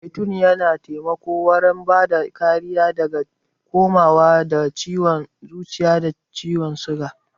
Zaitun yana taimako wurin bada kariya daga kamuwa da ciwan zuciya da ciwan suga.